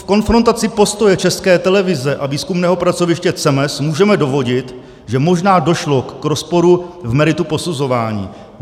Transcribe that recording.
V konfrontaci postoje České televize a výzkumného pracoviště CEMES můžeme dovodit, že možná došlo k rozporu v meritu posuzování.